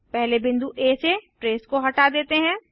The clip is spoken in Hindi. पहले बिंदु आ से ट्रेस को हटा देते हैं